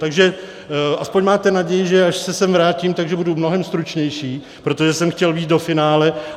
Takže aspoň máte naději, že až se sem vrátím, tak budu mnohem stručnější, protože jsem chtěl jít do finále.